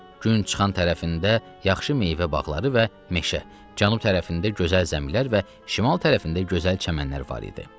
Gün çıxan tərəfində yaxşı meyvə bağları və meşə, cənub tərəfində gözəl zəmilər və şimal tərəfində gözəl çəmənlər var idi.